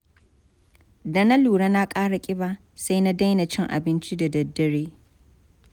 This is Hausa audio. Da na lura na ƙara ƙiba, sai na daina cin abinci da daddare.